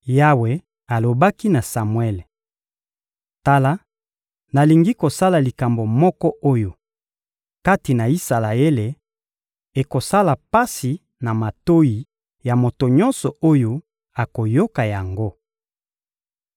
Yawe alobaki na Samuele: — Tala, nalingi kosala likambo moko oyo, kati na Isalaele, ekosala pasi na matoyi ya moto nyonso oyo akoyoka yango.